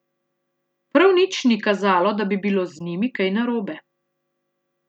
Prav nič ni kazalo, da bi bilo z njimi kaj narobe.